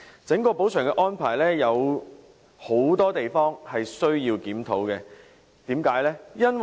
整個補償安排有許多需要檢討的地方，原因為何？